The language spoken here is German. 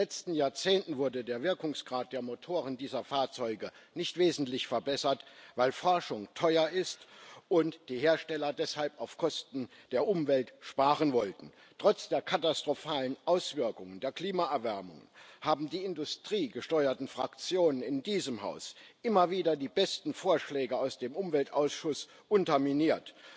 In den letzten Jahrzehnten wurde der Wirkungsgrad der Motoren dieser Fahrzeuge nicht wesentlich verbessert, weil Forschung teuer ist und die Hersteller deshalb auf Kosten der Umwelt sparen wollten. Trotz der katastrophalen Auswirkungen der Klimaerwärmung haben die industriegesteuerten Fraktionen in diesem Haus immer wieder die besten Vorschläge aus dem Umweltausschuss unterminiert.